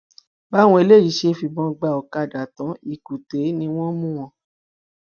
báwọn eléyìí ṣe fìbọn gba ọkadà tán lkùté ni wọn mú wọn